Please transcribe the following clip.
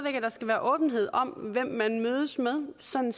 at der skal være åbenhed om hvem man mødes med sådan